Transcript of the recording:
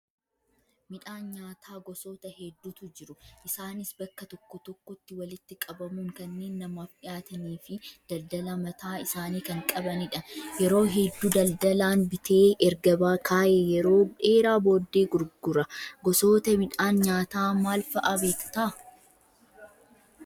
Midhaan nyaataa gosoota hedduutu jiru. Isaanis bakka tokkotti walitti qabamuun kanneen namaaf dhiyaatanii fi daldalaa mataa isaanii kan qabanidha. Yeroo hedduu daldalaan bitee erga kaayee yeroo dheeraa booddee gurgura. Gosoota midhaan nyaataa maal fa'aa beektaa?